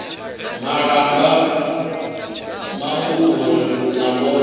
malamba mauku uri na vhone